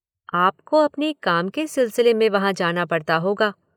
आपको अपने काम के सिलसिले में वहाँ जाना पड़ता होगा।